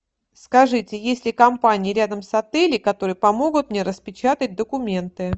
скажите есть ли компании рядом с отелем которые помогут мне распечатать документы